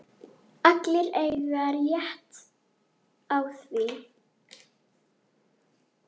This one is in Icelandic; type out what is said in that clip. Allir eiga rétt á því.